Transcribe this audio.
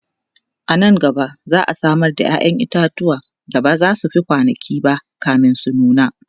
anan gaba za'a Samar da yayan itatuwa da bazasu Fi kwanankinba kamin su nuna